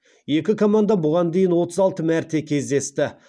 екі команда бұған дейін отыз алты мәрте кездесті